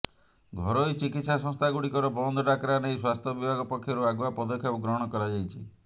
ଘରୋଇ ଚିକିତ୍ସା ସଂସ୍ଥାଗୁଡ଼ିକର ବନ୍ଦ ଡାକରା ନେଇ ସ୍ୱାସ୍ଥ୍ୟ ବିଭାଗ ପକ୍ଷରୁ ଆଗୁଆ ପଦକ୍ଷେପ ଗ୍ରହଣ କରାଯାଇଛି